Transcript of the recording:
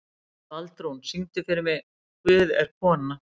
Baldrún, syngdu fyrir mig „Guð er kona“.